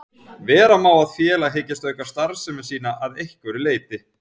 Vera má að félag hyggist auka starfsemi sína að einhverju leyti.